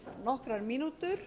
nokkrar mínútur